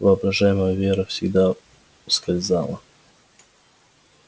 воображаемая вера всегда ускользала